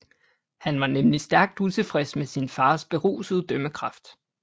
Han var nemlig stærkt utilfreds med sin fars berusede dømmekraft